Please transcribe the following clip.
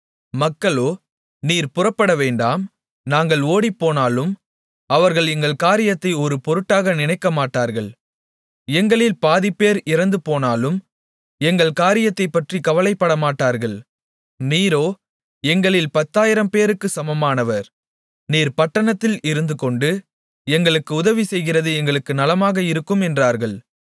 மக்களோ நீர் புறப்படவேண்டாம் நாங்கள் ஓடிப்போனாலும் அவர்கள் எங்கள் காரியத்தை ஒரு பொருட்டாக நினைக்கமாட்டார்கள் எங்களில் பாதிப்பேர் இறந்துபோனாலும் எங்கள் காரியத்தைப்பற்றிக் கவலைப்படமாட்டார்கள் நீரோ எங்களில் பத்தாயிரம்பேருக்கு சமமானவர் நீர் பட்டணத்தில் இருந்துகொண்டு எங்களுக்கு உதவி செய்கிறது எங்களுக்கு நலமாக இருக்கும் என்றார்கள்